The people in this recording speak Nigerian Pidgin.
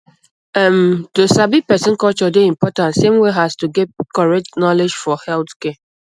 um to sabi person culture dey important same way as to get correct knowledge for healthcare